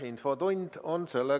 Infotund on läbi.